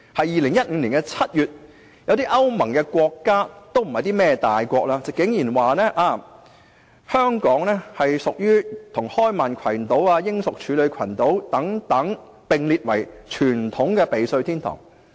2015年7月，有些歐盟國家——不是大國——竟然說香港應與開曼群島、英屬處女群島等，並列為傳統的避稅天堂。